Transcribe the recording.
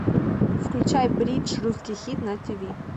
включай бридж русский хит на тиви